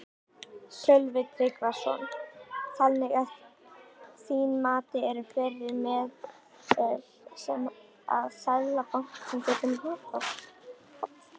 Sölvi Tryggvason: Þannig að þín mati eru fleiri meðöl sem að Seðlabankinn gæti notað?